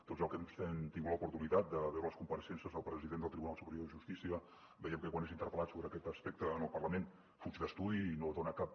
tots hem tingut l’oportunitat de veure les compareixences del president del tribunal superior de justícia veiem que quan és interpel·lat sobre aquest aspecte en el parlament fuig d’estudi i no dona cap